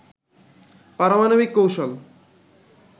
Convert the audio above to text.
পারমাণবিক কৌশল